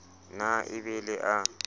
na e be le a